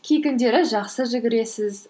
кей күндері жақсы жүгіресіз